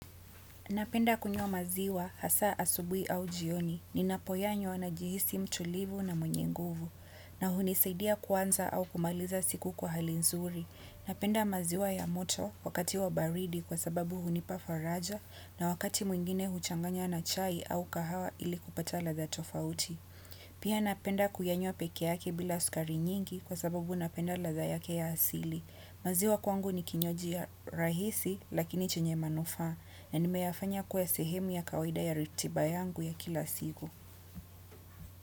Napenda kunywa maziwa, hasa asubuhi au jioni, ninapoyanywa najihisi mtulivu na mwenye nguvu, na hunisidia kuanza au kumaliza siku kwa hali nzuri. Napenda maziwa ya moto, wakati wa baridi kwa sababu hunipa faraja, na wakati mwingine huchanganya na chai au kahawa ili kupata ladha tofauti. Pia napenda kuyanywa peke yake bila sukari nyingi kwa sababu napenda ladha yake ya asili. Maziwa kwangu ni kinywaji ya rahisi lakini chenye manufa na nimeyafanya kuwa sehemu ya kawaida ya ratiba yangu ya kila siku.